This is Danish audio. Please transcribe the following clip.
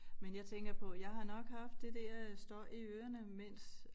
Men jeg tænker på jeg har nok haft det der øh støj i ørerne mens